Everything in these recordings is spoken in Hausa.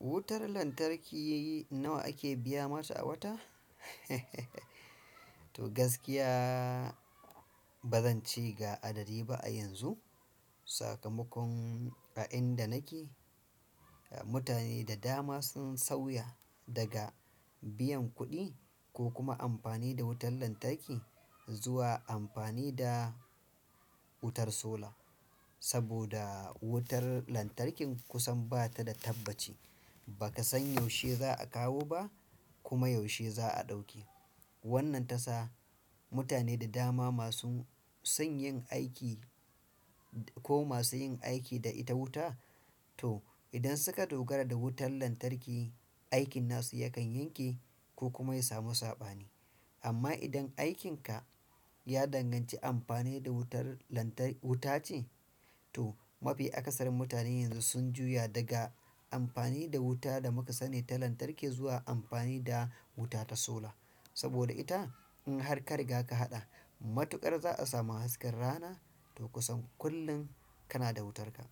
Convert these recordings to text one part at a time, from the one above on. Wutar lantarki nawa ake biya mata a wata? To gaskiya ba zance ga adadi ba a yanzu. Sakamakon a inda nake, mutane da dama sun sauya daga biyan kuɗi ko kuma amfani da wutar lantarki zuwa amfani da wutar sola. Saboda wutar lantarkin kusan bata da tabbaci. Baka san yaushe za a kawo ba kuma yaushe za a ɗauke. Wannan ta sa mutane da dama masu son yin aiki ko masu yin aiki da ita wuta, to idan suka dogara da wutar lantarki, aikin nasu yakan yanke ko kuma ya samu saɓani. Amma idan aikinka ya danganci amfani da wutar lantark-- wuta ce, to mafi akasarin mutane yanzu sun juya daga amfani da wuta da muka sani ta lantarki zuwa amfani da wuta ta sola. Saboda ita in har ka riga ka haɗa, matuƙar za a samu hasken rana to kusan kullum kana da wutarka.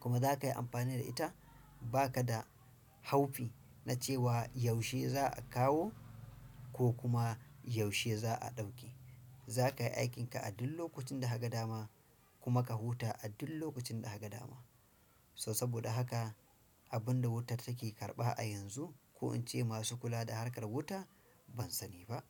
Kuma zakayi amfani da ita bakada haufi na cewa yaushe za a kawo. Ko kuma yaushe za a ɗauke. Zaka yi aikinka a duk lokacin da ka ga dama kuma ka huta a duk lokacin da haka dama. So saboda haka abin da wutar take karɓa a yanzu ko in ce masu kula da harkar wuta ban sani ba.